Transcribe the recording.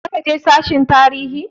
Zaka je sashen tarihi?